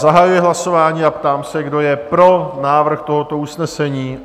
Zahajuji hlasování a ptám se, kdo je pro návrh tohoto usnesení?